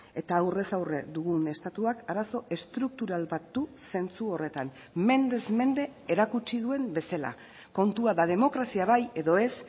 eta aurrez aurre dugun estatuak arazo estruktural bat du zentzu horretan mendez mende erakutsi duen bezala kontua da demokrazia bai edo ez